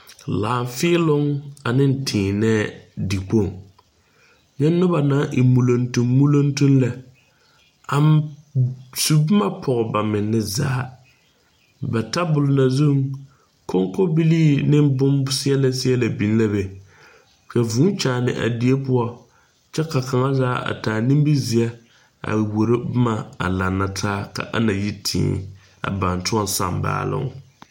Laafēēloŋ aneŋ tēēnɛɛ dikpoŋ nye nobɔ naŋ e muloŋtumm muloŋtumm lɛ a su bomma pɔg ba menne zaa ba tabol na koŋkobilii ne bonseɛɛlɛ bonseɛɛlɛ biŋ la be ka vūū kyaane a die poɔ kyɛ ka kaŋa zaa a taa nimizeɛ a wuoro bomma a laŋa taa kaa na yi tēē ka ba na baŋ tõɔ saŋ baaloŋ.